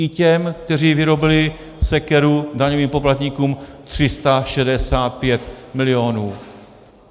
I těm, kteří vyrobili sekeru daňovým poplatníkům 365 milionů.